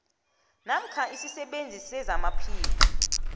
namkha isisebenzi sezamaphilo